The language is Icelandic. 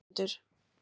Ögmundur